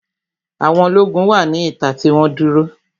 Àwọn ológun wà ní ìta tí wọ́n dúró